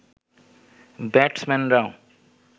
ব্যাটসম্যানরাও